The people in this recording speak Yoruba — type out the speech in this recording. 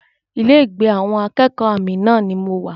Ilé ìgbé àwọn akẹ́kọ̀ọ́ Amina ni mo wà